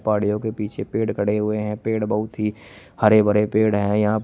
पहाड़ियो के पीछे पेड़ खड़े हुए हैं पेड़ बहुत ही हरे भरे पेड़ है यहांपर--